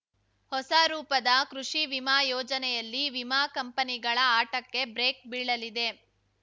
ಹೊಸ ರೂಪದ ಕೃಷಿ ವಿಮಾ ಯೋಜನೆಯಲ್ಲಿ ವಿಮಾ ಕಂಪನಿಗಳ ಆಟಕ್ಕೆ ಬ್ರೇಕ್‌ ಬೀಳಲಿದೆ